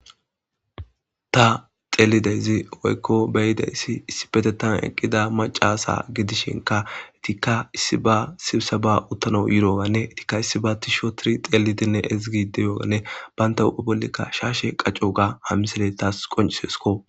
Ta xelidezi woyiko beyideyssi issi petetan eqqida macasa gidishinka etikka issi ba sibsa ba uttano yirooganne etikka issi ba tishootiri xelidinne ezigi deyooganne banta hudha bolleka shaashe qaccoga ha misele taas qoncisiesko